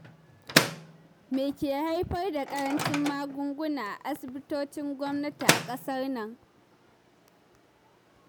Me ke haifar da ƙaracin maguguna a asibitocin gwamnati a ƙasar nan?